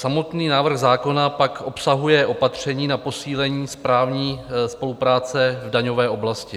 Samotný návrh zákona pak obsahuje opatření na posílení správní spolupráce v daňové oblasti.